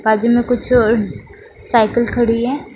बाजू में कुछ ओड साइकिल खड़ी है।